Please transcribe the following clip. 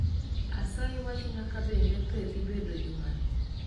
Asayi wachna kabende pee dhibedo jumani